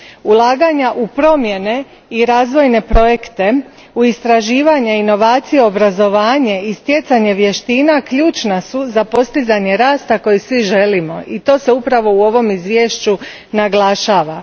Ulaganja u promjene i razvojne projekte, u istraživanje, inovacije, obrazovanje i stjecanje vještina ključna su za postizanje rasta koji svi želimo, i to se upravo u ovom izvješću naglašava.